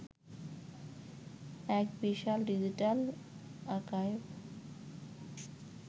এক বিশাল digital archive